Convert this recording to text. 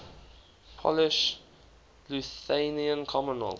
polish lithuanian commonwealth